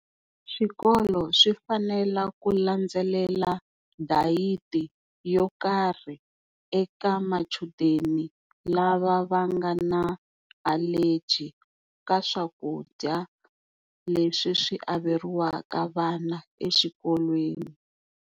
Swikolo swi fanela ku landzelela dayiti yo karhi eka machudeni lava va nga na allergy ka swakudya leswi swi averiwaka vana exikolweni.